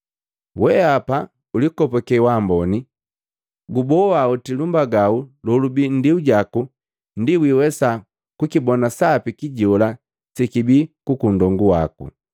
Weapa ulikopake waamboni! Guboa oti lumbagau lolubii nndiu jaku ndi wiwesa kukibona sapi kijola sekibi kukunndongu waku.”